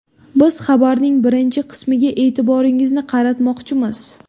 Biz xabarning birinchi qismiga e’tiboringizni qaratmoqchimiz.